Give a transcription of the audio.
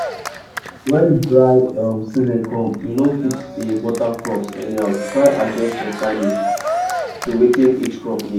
um when dry um season come you no fit dey water crops anyhow try adjust your timing to wetin each crop need.